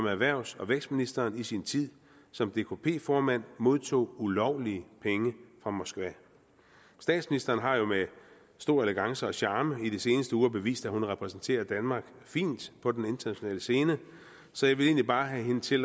erhvervs og vækstministeren i sin tid som dkp formand modtog ulovlige penge fra moskva statsministeren har jo med stor elegance og charme i de seneste uger bevist at hun repræsenterer danmark fint på den internationale scene så jeg vil egentlig bare have hende til